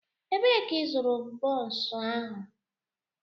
Ebee ka ịzụrụ bonsu ahu?